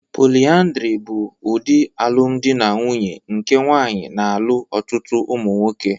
Polyandry bụ ụdị alụmdi na nwunye nke nwaanyị na-alụ ọtụtụ ụmụ nwoke.